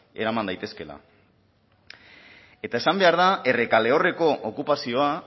eraman daitezkeela eta esan behar da errekaleorreko okupazioa